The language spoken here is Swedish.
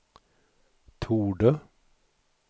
torde